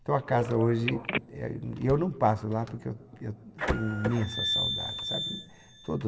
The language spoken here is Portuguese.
Então a casa hoje, eh, eu não passo lá porque eu eu eu tenho imensa saudade, sabe? Todo